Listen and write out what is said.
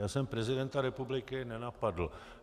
Já jsem prezidenta republiky nenapadl.